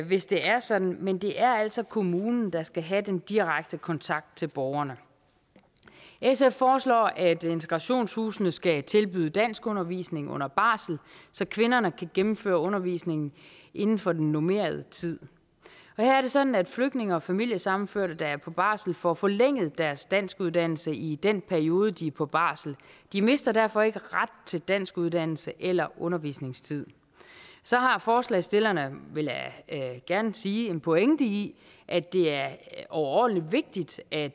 hvis det er sådan men det er altså kommunen der skal have den direkte kontakt til borgerne sf foreslår at integrationshusene skal tilbyde danskundervisning under barsel så kvinderne kan gennemføre undervisningen inden for den normerede tid her er det sådan at flygtninge og familiesammenførte der er på barsel får forlænget deres danskuddannelse i den periode de er på barsel de mister derfor ikke ret til danskuddannelse eller undervisningstid så har forslagsstillerne vil jeg gerne sige en pointe i at det er overordentlig vigtigt at